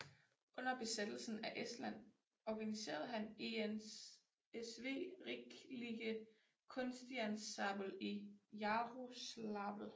Under besættelsen af Estland organiserede han ENSV Riiklike Kunstiansambel i Jaroslavl